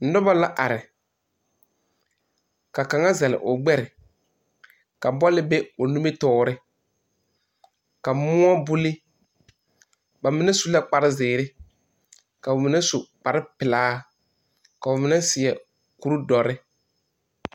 Noba la are ka kaŋa zagle o gbare ka bɔl be o nimitɔɔre ka muo buli ba mine su la kparre ziiri ka mine su kpare pelaa ka mine seɛ kur dɔre.